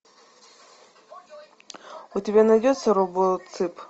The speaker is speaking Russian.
у тебя найдется робоцып